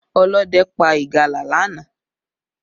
Ọlọ́dẹ pa ìgalà lánàá